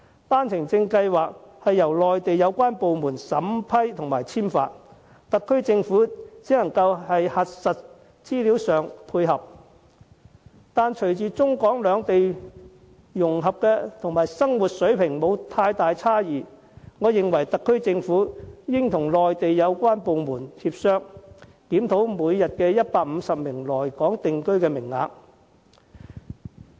單程證是由內地有關部門審批和簽發，特區政府只能在核實資料上作出配合，但隨着中港兩地融合和生活水平差異減少，我認為特區政府應與內地有關部門協商，檢討每天150個來港定居的名額。